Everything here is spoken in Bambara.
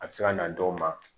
A bɛ se ka na dɔw ma